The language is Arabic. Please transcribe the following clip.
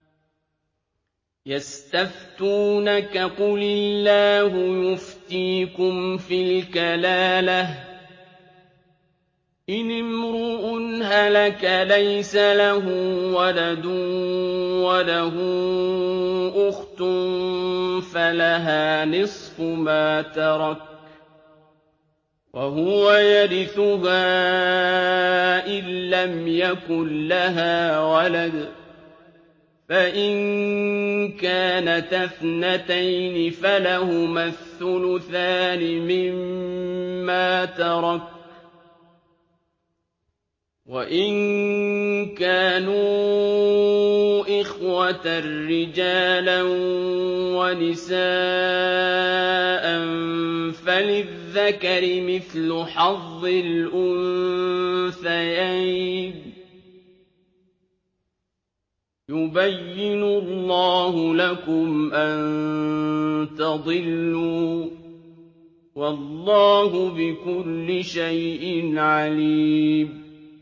يَسْتَفْتُونَكَ قُلِ اللَّهُ يُفْتِيكُمْ فِي الْكَلَالَةِ ۚ إِنِ امْرُؤٌ هَلَكَ لَيْسَ لَهُ وَلَدٌ وَلَهُ أُخْتٌ فَلَهَا نِصْفُ مَا تَرَكَ ۚ وَهُوَ يَرِثُهَا إِن لَّمْ يَكُن لَّهَا وَلَدٌ ۚ فَإِن كَانَتَا اثْنَتَيْنِ فَلَهُمَا الثُّلُثَانِ مِمَّا تَرَكَ ۚ وَإِن كَانُوا إِخْوَةً رِّجَالًا وَنِسَاءً فَلِلذَّكَرِ مِثْلُ حَظِّ الْأُنثَيَيْنِ ۗ يُبَيِّنُ اللَّهُ لَكُمْ أَن تَضِلُّوا ۗ وَاللَّهُ بِكُلِّ شَيْءٍ عَلِيمٌ